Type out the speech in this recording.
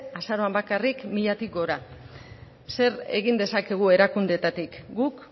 azaroan bakarrik milatik gora zer egin dezakegu erakundeetatik guk